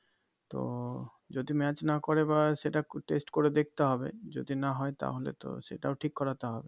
তো যদি match না করে এবার সেটা test করে দেখতে হবে যদি না হয় তাহলে তো সেটাও ঠিক করাতে হবে